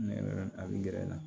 Nɛgɛ a bɛ gɛrɛ n na